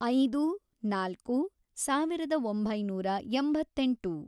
ಐದು, ನಾಲ್ಕು, ಸಾವಿರದ ಒಂಬೈನೂರ ಎಂಬತ್ತೆಂಟು